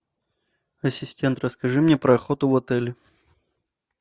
ассистент расскажи мне про охоту в отеле